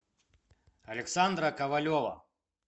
александра ковалева